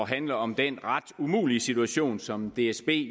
handle om den ret umulige situation som dsb